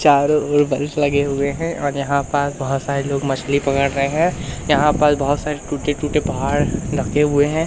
चारों ओर लगे हुए हैं और यहां पास बहुत सारे लोग मछली पकड़ रहे हैं यहां पर बहुत सारे टूटे टूटे पहाड़ रखे हुए हैं।